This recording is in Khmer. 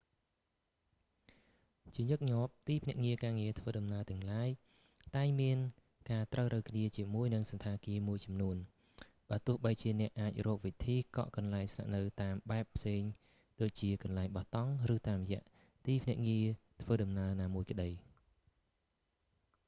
ជាញឹកញាប់ទីភ្នាក់ងារធ្វើដំណើរទាំងឡាយតែងមានការត្រូវរ៉ូវគ្នាជាមួយនឹងសណ្ឋាគារមួយចំនួន បើទោះបីជាអ្នកអាចរកវិធីកក់កន្លែងស្នាក់នៅតាមបែបផ្សេងដូចជា កន្លែងបោះតង់ តាមរយៈទីភ្នាក់ងារធ្វើដំណើរណាមួយក្តី